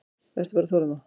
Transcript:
Vertu bara þolinmóð.